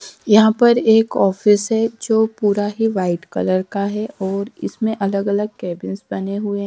यहां पर एक ऑफिस है जो पूरा ही व्हाइट कलर का है और इसमें अलग अलग कैबिन्स बने हुए।